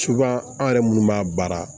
an yɛrɛ munnu b'a baara